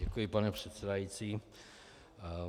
Děkuji, pane předsedající.